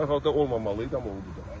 Əslində olmamalıydı, amma oldu da.